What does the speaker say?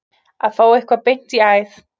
Að fá eitthvað beint í æð